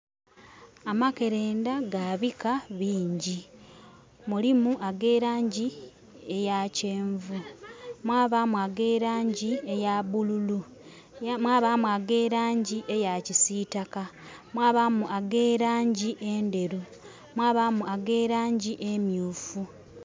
Amakerenda gabika bingi, mulimu ag'elangi eyakyenvu, mwabaamu ag'elangi eyabululu, mwabaamu ag'elangi eyakisiitaka, mwabaamu ag'elangi enderu, mwabaamu ag'elangi emyufu.